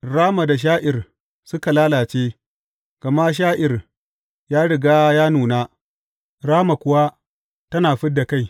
Rama da sha’ir suka lalace, gama sha’ir ya riga ya nuna, rama kuwa tana fid da kai.